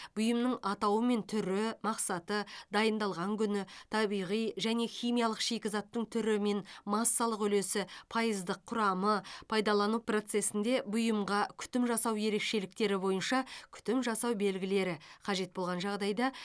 бұйымның атауы мен түрі мақсаты дайындалған күні табиғи және химиялық шикізаттың түрі мен массалық үлесі пайыздық құрамы пайдалану процесінде бұйымға күтім жасау ерекшеліктері бойынша күтім жасау белгілері қажет болған жағдайда